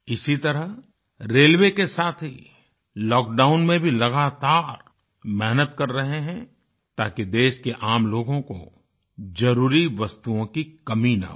इसी तरह रेलवे के साथी लॉकडाउन में भी लगातार मेहनत कर रहें हैं ताकि देश के आम लोगों को जरुरी वस्तुओं की कमी न हो